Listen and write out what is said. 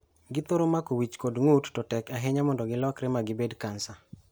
Githoro mako wich kod ng`ut to tek ahinya mondo gilokre magibed kansa.